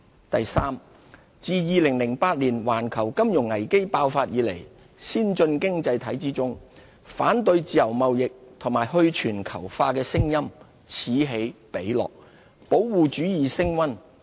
第三，自2008年環球金融危機爆發以來，先進經濟體之中，反對自由貿易及去全球化的聲音此起彼落，保護主義升溫。